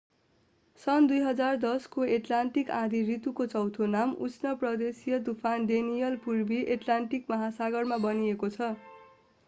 सन् 2010 को एट्लान्टिक आँधी ऋतुको चौथो नाम उष्ण प्रदेशिय तूफान डेनियल पूर्वी एट्लान्टिक महासागरमा बनिएको छ